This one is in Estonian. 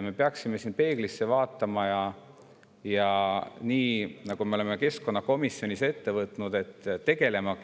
Me peaksime siin peeglisse vaatama ja nii, nagu me oleme keskkonnakomisjonis ette võtnud, tegelema